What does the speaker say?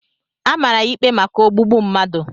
A maara ya ikpe maka ogbugbu mmadụ.